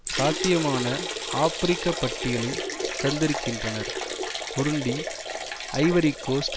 சாத்தியமான ஆபிரிக்க பட்டியலை தந்திருக்கின்றனர் புருண்டி ஐவரி கோஸ்ட்